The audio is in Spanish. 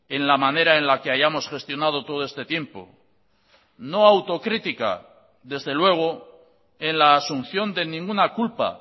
en la manera en la que hayamos gestionado todo este tiempo no autocrítica desde luego en la asunción de ninguna culpa